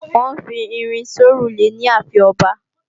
Wọ́n ń fi irin sórùlé ní ààfin ọba